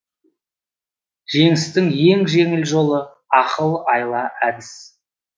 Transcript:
жеңістің ең жеңіл жолы ақыл айла әдіс